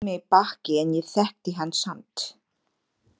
Hann sneri í mig baki en ég þekkti hann samt.